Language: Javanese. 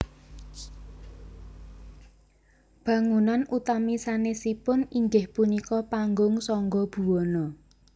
Bangunann utami sanesipun inggih punika Panggung Sangga Buwana